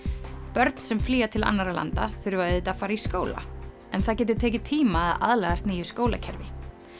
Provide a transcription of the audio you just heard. börn sem flýja til annarra landa þurfa auðvitað að fara í skóla en það getur tekið tíma að aðlagast nýju skólakerfi